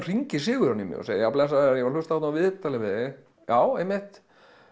hringir Sigurjón í mig og segir já blessaður ég var að hlusta þarna á viðtalið við þig já einmitt